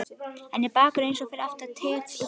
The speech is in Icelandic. Enn er Bakkus eins og fyrr athvarf Teits og Dóra.